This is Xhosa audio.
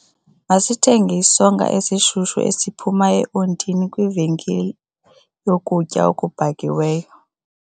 Masithenge isonka esishushu esiphuma eontini kwivenkile yokutya okubhakiweyo.